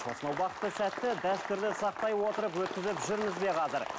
осынау бақытты сәтті дәстүрді сақтай отырып өткізіп жүрміз бе қазір